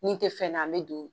Ni tɛ fɛn na an bɛ don.